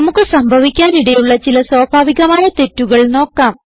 നമുക്ക് സംഭവിക്കാനിടയുള്ള ചില സ്വാഭാവികമായ തെറ്റുകൾ നോക്കാം